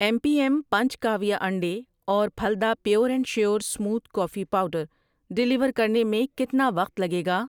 M P M punch کاویہ انڈے اور پھلدا pure and sure smooth coffee powder deliver کرنے میں کتنا وقت لگے گا؟